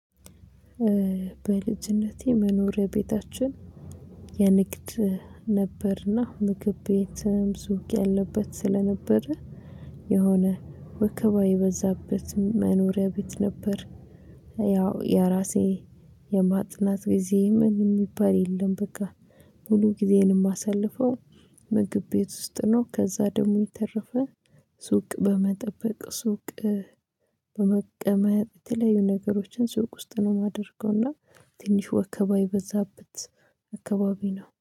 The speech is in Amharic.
በልጅነቴ መኖሪያ ቤታችን የንግድ ነበርና ምግብ ቤትም ሱቅ ያለበት ስለነበረ የሆነ ወከባ የበዛበት መኖሪያ ቤት ነበር። ያው የራሴ የማጥናት ጊዜ ምን የሚባል የለም። በቃ ሙሉ ጊዜዬንም እማሳልፈው ምግብ ቤት ውስጥ ነው። ከዛ ደግሞ የተረፈ ሱቅ በመጠበቅ ሱቅ። በመቀመጥ የተለያዩ ነገሮችን ሱቅ ውስጥ ነው የማደርገውና ትንሽ ወከባ የበዛበት አካባቢ ነው